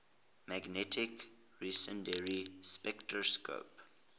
magnetic resonance spectroscopy